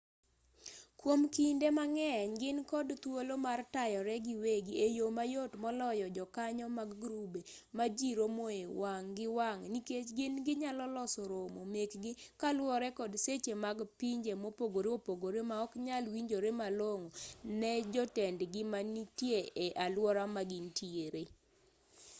kwom kinde mang'eny gin kod thuolo mar tayore giwegi e yo mayot moloyo jokanyo mag grube ma ji romoe wang' gi wang' nikech gin ginyalo loso romo mekgi kaluwore kod seche mag pinje mopogore opogore maoknyal winjore malong'o ne jotendgi manitie e aluora ma gintiere